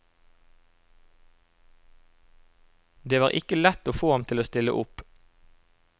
Det var ikke lett å få ham til å stille opp.